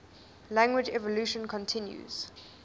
language evolution continues